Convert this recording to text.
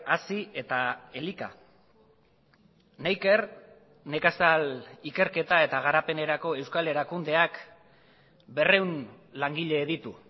hazi eta elika neiker nekazal ikerketa eta garapenerako euskal erakundeak berrehun langile ditu